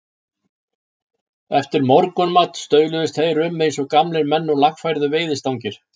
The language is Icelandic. Eftir morgunmat stauluðust þeir um eins og gamlir menn og lagfærðu veiðistangir.